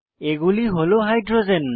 এগুলি হল হাইড্রোজেন